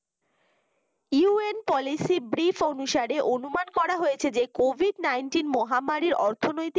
UNPolicy breif অনুসারে অনুমান করা হয়েছে যে covid nineteen মহামারির অর্থনৈতিক